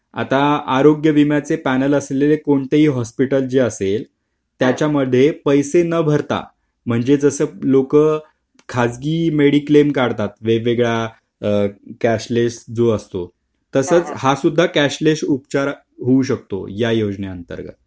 आता आरोग्य विम्याचे पैनल असलेले कोणतेही हॉस्पिटलची असेल त्याच्या मध्ये पैसे न भरता म्हणजे जस लोक खाजगी मेडिक्लेम काढतात वेगवेगळा कॅशलेस जो असतो तसंच हा सुद्धा कॅशलेस उपचार होऊ शकतो या योजनेअंतर्गत